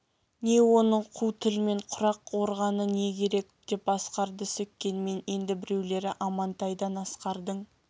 не оның қу тілмен құрақ органы не керек деп асқарды сөккенмен енді біреулері амантайдан асқардың